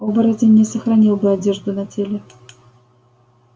оборотень не сохранил бы одежду на теле